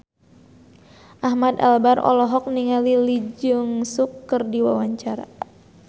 Ahmad Albar olohok ningali Lee Jeong Suk keur diwawancara